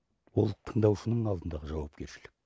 бұл тыңдаушының алдындағы жауапкершілік